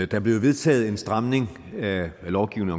der blev vedtaget en stramning af lovgivning